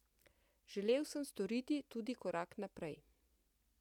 Želel sem storiti tudi korak naprej.